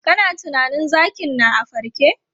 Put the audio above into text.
Kana tunanin zakin na a farke?